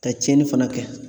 Ka tiɲɛni fana kɛ.